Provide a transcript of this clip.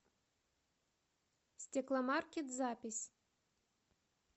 стекломаркет запись